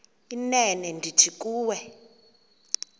inene ndithi kuwe